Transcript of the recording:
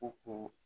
U ko